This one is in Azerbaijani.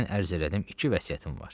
mən ərz elədim iki vəsiyyətim var.